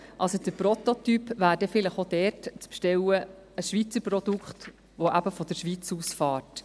Der Prototyp wäre vielleicht auch dort zu bestellen – ein Schweizer Produkt, das von der Schweiz aus fährt.